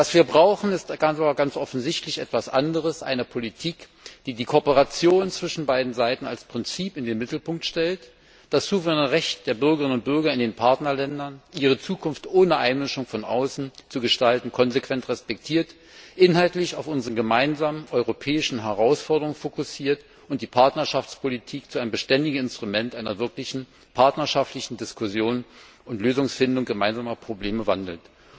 Was wir brauchen, ist ganz offensichtlich etwas anderes eine Politik, die die Kooperation zwischen beiden Seiten als Prinzip in den Mittelpunkt stellt, das souveräne Recht der Bürgerinnen und Bürger in den Partnerländern, ihre Zukunft ohne Einmischung von außen zu gestalten, konsequent respektiert, inhaltlich auf unsere gemeinsamen europäischen Herausforderungen fokussiert und die Partnerschaftspolitik zu einem beständigen Instrument einer wirklichen partnerschaftlichen Diskussion und Lösungsfindung gemeinsamer Probleme wandelt.